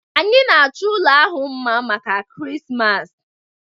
Anyị na-achọ ụlọ ahụ mma maka Krismas